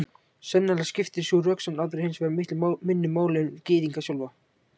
Sennilega skiptir sú röksemd aðra hins vegar miklu minna máli en Gyðinga sjálfa.